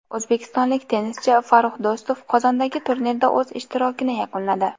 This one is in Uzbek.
O‘zbekistonlik tennischi Farrux Do‘stov Qozondagi turnirda o‘z ishtirokini yakunladi.